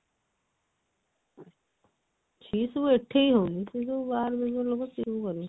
ସେ ସବୁ ଏଠେଇ ହଉନି ସିଏ ସବୁ ବାହାର ଦେଶ ର ଲୋକ ସିଏ କରିବେ